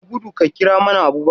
Yi gudu ka kira mana Abubakar!